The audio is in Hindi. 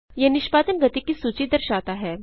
यह निष्पादन गति की सूची दर्शाता है